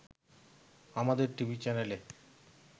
আমাদের টিভি চ্যানেলে